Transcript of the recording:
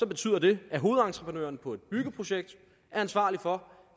betyder det at hovedentreprenøren på et byggeprojekt er ansvarlig for